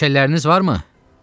Məşəlləriniz varmı?